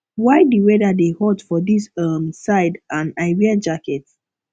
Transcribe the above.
why the weather dey hot for dis um side and i wear jacket